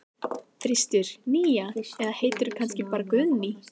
þristur, nía eða heitir þú kannski bara Guðný?